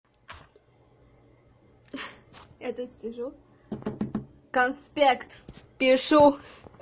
я тут сижу конспект пишу